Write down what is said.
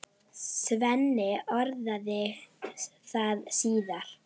Svenni orðaði það síðar.